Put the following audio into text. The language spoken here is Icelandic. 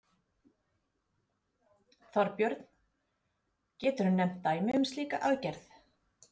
Þorbjörn: Geturðu nefnt dæmi um slíka aðgerð?